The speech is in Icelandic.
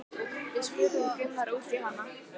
Við spurðum Gunnar út í hana?